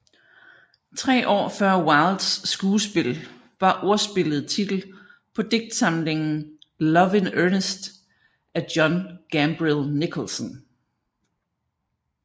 Tre år før Wildes skuespil var ordspillet titel på digtsamlingen Love in earnest af John Gambril Nicholson